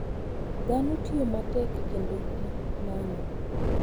Dhano tiyo matek kendo ginano.